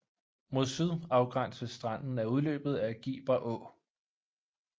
Mod syd afgænses stranden af udløbet af Giber Å